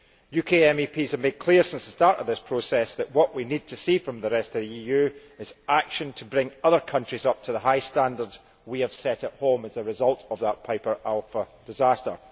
UK MEPs have made clear since the start of this process that what we need to see from the rest of the EU is action to bring other countries up to the high standards we have set at home as a result of that Piper Alpha disaster.